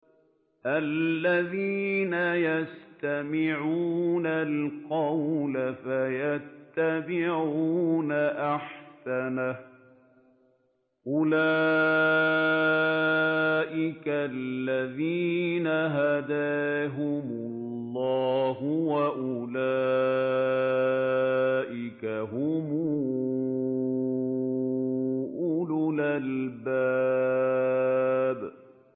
الَّذِينَ يَسْتَمِعُونَ الْقَوْلَ فَيَتَّبِعُونَ أَحْسَنَهُ ۚ أُولَٰئِكَ الَّذِينَ هَدَاهُمُ اللَّهُ ۖ وَأُولَٰئِكَ هُمْ أُولُو الْأَلْبَابِ